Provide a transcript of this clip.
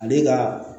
Ale ka